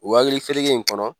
O hakili fereke in kɔnɔ